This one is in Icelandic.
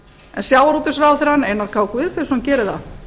en sjávarútvegsráðherrann einar k guðfinnsson gerir það